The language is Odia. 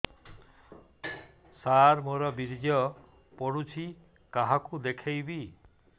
ସାର ମୋର ବୀର୍ଯ୍ୟ ପଢ଼ୁଛି କାହାକୁ ଦେଖେଇବି